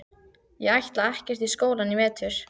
Ég ætla ekkert í skólann í vetur.